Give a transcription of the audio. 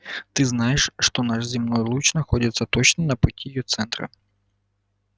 ты знаешь что наш земной луч находится точно на пути её центра